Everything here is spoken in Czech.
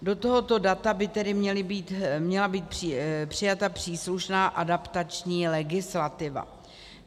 Do tohoto data by tedy měla být přijata příslušná adaptační legislativa.